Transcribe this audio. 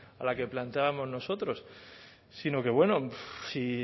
a la que planteábamos nosotros sino que bueno si